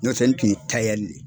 Nɔtɛ n tun ye de ye.